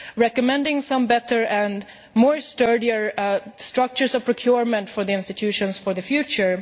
recommending some better and more sturdy structures of procurement for the institutions for the future.